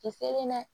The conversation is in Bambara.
Kisɛ na